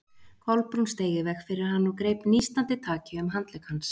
Kolbrún steig í veg fyrir hann og greip nístandi taki um handlegg hans.